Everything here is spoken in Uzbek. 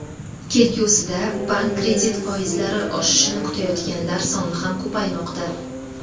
Kelgusida bank kredit foizlari oshishini kutayotganlar soni ham ko‘paymoqda.